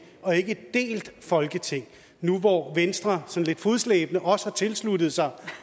og ikke et delt folketing nu hvor venstre sådan lidt fodslæbende også har tilsluttet sig